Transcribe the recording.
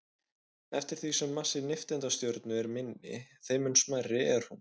Eftir því sem massi nifteindastjörnu er minni, þeim mun smærri er hún.